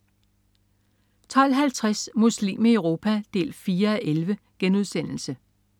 12.50 Muslim i Europa 4:11*